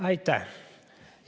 Aitäh!